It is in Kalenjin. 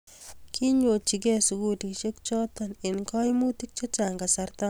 kinyochigei sukulisiek choto eng' kaimutik che chang' kasarta noto